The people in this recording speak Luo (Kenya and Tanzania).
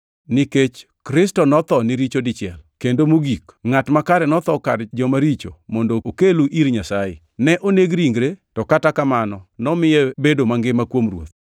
Nikech Kristo notho ni richo dichiel kendo mogik, ngʼat makare notho kar joma richo mondo okelu ir Nyasaye. Ne oneg ringre, to kata kamano nomiye bedo mangima kuom Roho.